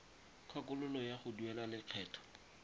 kgakololo ya go duela lekgetho